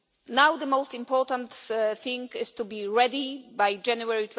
Now, the most important thing is to be ready by January